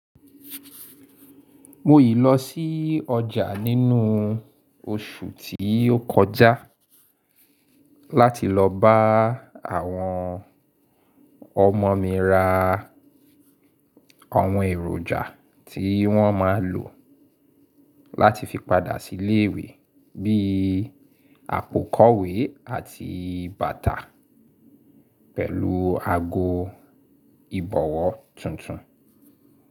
Mo yi lọ sí ọjà nínú oṣù tí ó kọjá láti lọ bá àwọn ọmọ mi ra àwọn èròjà tí wọ́n máa ń lò láti fi padà sí ilé ìwé bíi àpò kọ̀wé àti bàtà pẹ̀lú ago ìbọ̀wọ́ tuntun.